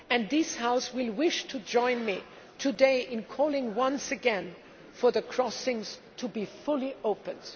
This House will wish to join me today in calling, once again, for the crossings to be fully opened.